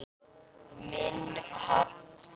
Minn pabbi.